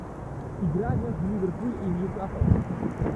игра между ливерпуль и ньюкасл